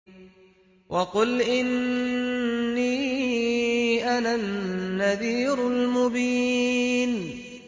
وَقُلْ إِنِّي أَنَا النَّذِيرُ الْمُبِينُ